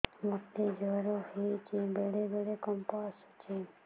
ମୋତେ ଜ୍ୱର ହେଇଚି ବେଳେ ବେଳେ କମ୍ପ ଆସୁଛି